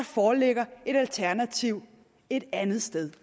foreligger et alternativ et andet sted